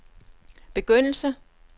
begyndelse